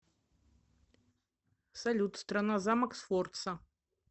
салют страна замок сфорца